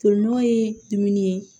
Tolinɔgɔ ye dumuni ye